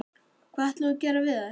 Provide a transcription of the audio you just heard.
Brynja: Hvað ætlar þú að gera við þær?